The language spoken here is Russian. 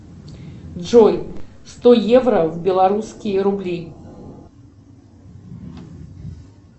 джой сто евро в белорусские рубли